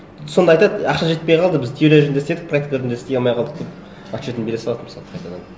сонда айтады ақша жетпей қалды біз теория жүзінде істедік практика жүзінде істей алмай қалдық деп отчетын бере салады мысалы қайтадан